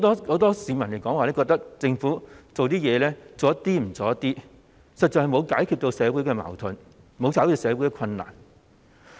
很多市民也認為政府做事不夠全面，實在沒有解決社會的矛盾及困難。